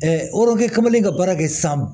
kamalen ka baara kɛ san